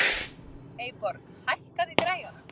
Eyborg, hækkaðu í græjunum.